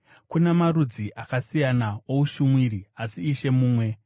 Kuna marudzi akasiyana oushumiri, asi Ishe mumwe.